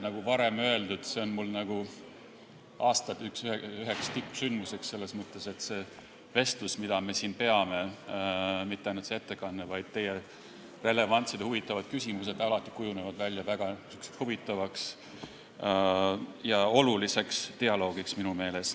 Nagu varem öeldud, see on üks aasta tippsündmus selles mõttes, et see vestlus, mida me siin peame – mitte ainult ettekanne, vaid ka teie relevantsed ja huvitavad küsimused – kujuneb minu meelest alati väga huvitavaks ja oluliseks dialoogiks.